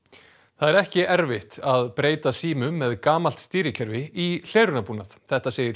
það er ekki erfitt að breyta símum með gamalt stýrikerfi í hlerunarbúnað þetta segir